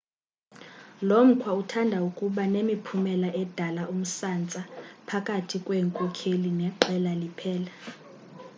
lomkhwa uthanda ukuba nemiphumela edala umsantsa phakathi kweenkokheli neqela liphela